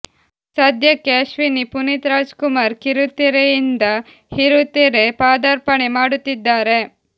ಸದ್ಯಕ್ಕೆ ಅಶ್ವಿನಿ ಪುನೀತ್ ರಾಜ್ ಕುಮಾರ್ ಕಿರುತೆರೆಯಿಂದ ಹಿರುತೆರೆ ಪಾದಾರ್ಪಣೆ ಮಾಡುತ್ತಿದ್ದಾರೆ